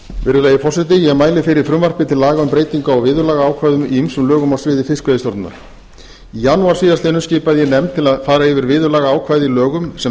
virðulegi forseti ég mæli fyrir frumvarpi til laga um breytingu á viðurlagaákvæðum í ýmsum lögum á sviði fiskveiðistjórnar í janúar síðastliðnum skipaði ég nefnd til að fara yfir viðurlagaákvæði í lögum sem